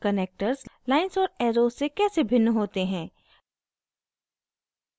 connectors lines और arrows से कैसे भिन्न होते हैं